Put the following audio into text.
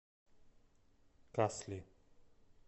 касли